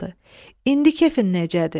İndi kefin necədir?